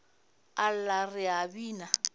a lla re a bina